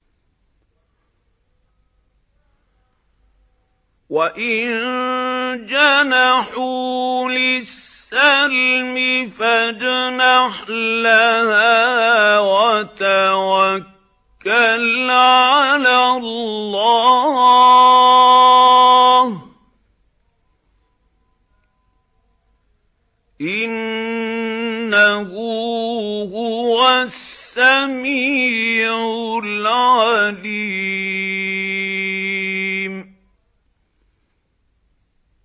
۞ وَإِن جَنَحُوا لِلسَّلْمِ فَاجْنَحْ لَهَا وَتَوَكَّلْ عَلَى اللَّهِ ۚ إِنَّهُ هُوَ السَّمِيعُ الْعَلِيمُ